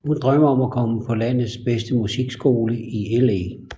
Hun drømmer om at komme på landets bedste musikskole i LA